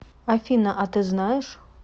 афина а ты знаешь